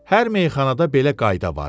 Hər meyxanada belə qayda var idi.